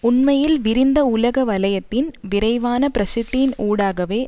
உண்மையில் விரிந்த உலக வலையத்தின் விரைவான பிரசித்தியின் ஊடாகவே